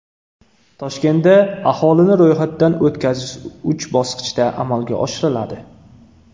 Toshkentda aholini ro‘yxatdan o‘tkazish uch bosqichda amalga oshiriladi.